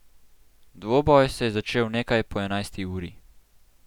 Dvoboj se je začel nekaj po enajsti uri.